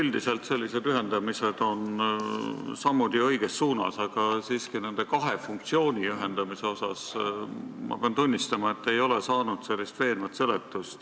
Üldiselt on sellised ühendamised ju sammud õiges suunas, aga siiski pean nende kahe funktsiooni ühendamise kohta tunnistama, et ei ole saanud veenvat seletust.